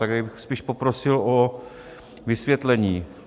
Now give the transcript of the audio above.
Takže bych spíš poprosil o vysvětlení.